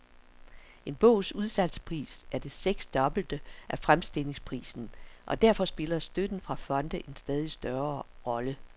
En bogs udsalgspris er det seksdobbelte af fremstillingsprisen, og derfor spiller støtten fra fonde en stadig større rolle.